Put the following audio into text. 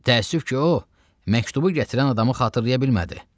Təəssüf ki, o, məktubu gətirən adamı xatırlaya bilmədi.